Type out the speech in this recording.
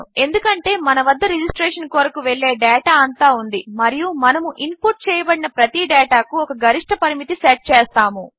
ఎందుకంటే మన వద్ద రిజిస్ట్రేషన్ కొరకు వెళ్ళే డేటా అంతా ఉంది మరియు మనము ఇన్పుట్ చేయబడిన ప్రతి డేటాకు ఒక గరిష్ఠ పరిమితి సెట్ చేస్తాము